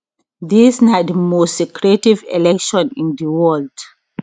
dis na di most secretive election in di world